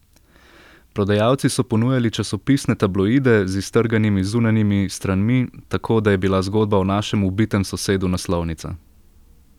Prodajalci so ponujali časopisne tabloide z iztrganimi zunanjimi stranmi, tako da je bila zgodba o našem ubitem sosedu naslovnica.